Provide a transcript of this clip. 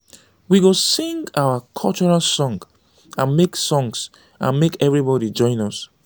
we go sing our cultural songs and make songs and make everybody join us.